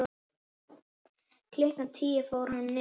Klukkan tíu fór hann niður.